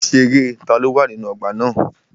Mo ṣerẹ́ taló wà nínú ọgbà na.